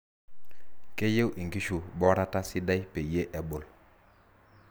keyieu inkishu borata sidai peyie ebul.